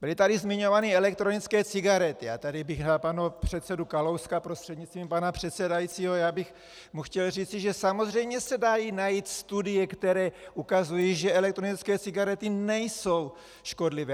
Byly tady zmiňovány elektronické cigarety a tady bych na pana předsedu Kalouska prostřednictvím pana předsedajícího, já bych mu chtěl říci, že samozřejmě se dají najít studie, které ukazují, že elektronické cigarety nejsou škodlivé.